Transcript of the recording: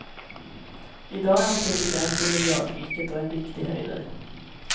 Idag är han president i miljardriket och en riktig höjdare.